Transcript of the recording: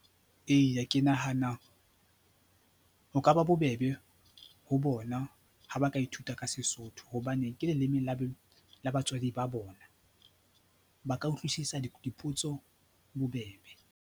Eya, ke nahana ho ka ba bobebe ho bona ha ba ka ithuta ka Sesotho hobane ke leleme la batswadi ba bona, ba ka utlwisisa dipotso bobebe.